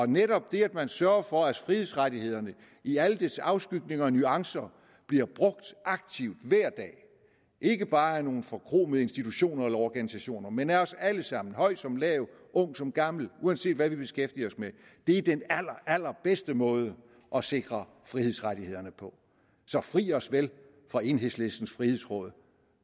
netop det at man sørger for at frihedsrettighederne i alle deres afskygninger og nuancer bliver brugt aktivt hver dag ikke bare af nogle forkromede institutioner eller organisationer men af os alle sammen høj som lav ung som gammel uanset hvad vi beskæftiger os med er den allerallerbedste måde at sikre frihedsrettighederne på så fri os vel fra enhedslistens frihedsråd